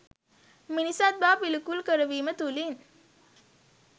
මිනිසත් බව පිළිකුල් කරවීම තුලින්